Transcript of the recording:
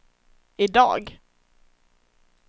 idag